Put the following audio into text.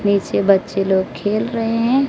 नीचे बच्चे लोग खेल रहे है।